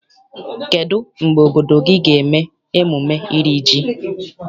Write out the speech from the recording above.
Kedụ mgbe obodo gị ga eme emume iri ji?